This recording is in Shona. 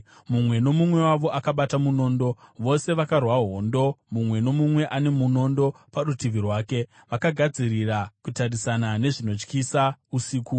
Mumwe nomumwe wavo akabata munondo vose vakarwa hondo, mumwe nomumwe ane munondo parutivi rwake, vakagadzirira kutarisana nezvinotyisa usiku.